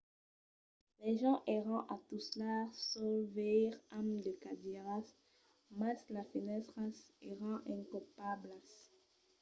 las gents èran a tustar suls veires amb de cadièras mas las fenèstras èran incopablas